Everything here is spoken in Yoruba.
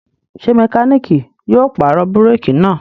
Ṣé mẹkáníkì yóò pàrọ̀ búrékì náà?